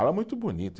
Ala muito bonita.